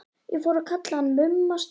Ég fór að kalla hann Mumma Stúss.